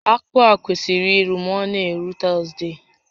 Akpụ a kwesịrị iru ma ọ na-eru Tọzdee